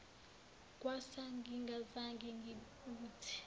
kwasa ngingazange ngibuthi